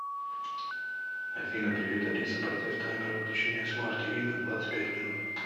афина привет алиса поставь таймер выключения смарт ти ви на двадцать пять минут